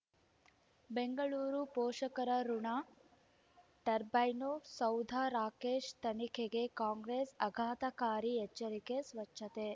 ಬೆಂಗಳೂರು ಪೋಷಕರಋಣ ಟರ್ಬೈನು ಸೌಧ ರಾಕೇಶ್ ತನಿಖೆಗೆ ಕಾಂಗ್ರೆಸ್ ಆಘಾತಕಾರಿ ಎಚ್ಚರಿಕೆ ಸ್ವಚ್ಛತೆ